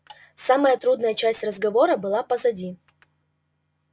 самая трудная часть разговора была позади